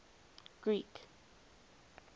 greek